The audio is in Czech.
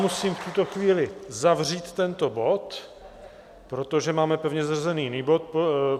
Musím v tuto chvíli zavřít tento bod, protože máme pevně zařazený jiný bod.